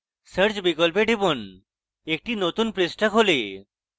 search বিকল্পে টিপুন একটি নতুন পৃষ্ঠা খোলে